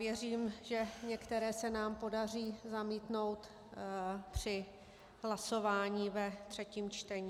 Věřím, že některé se nám podaří zamítnout při hlasování ve třetím čtení.